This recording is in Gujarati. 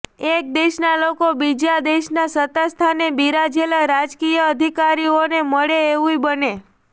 એક દેશના લોકો બીજા દેશના સત્તાસ્થાને બિરાજેલા રાજકીય અધિકારીઓને મળે એવુંય બને